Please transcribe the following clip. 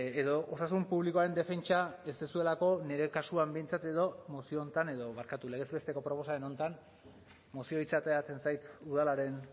edo osasun publikoaren defentsa ez duzuelako nire kasuan behintzat edo mozio honetan edo barkatu legez besteko proposamen honetan mozioa hitza ateratzen zait udalaren